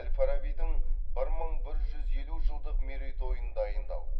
әл фарабидің бір мың бір жүз елу жылдық мерейтойын дайындау